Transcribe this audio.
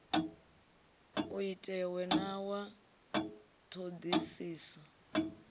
u itiwe na wa ṱhoḓisiso